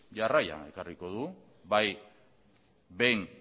jarraian ekarriko dugu bai behin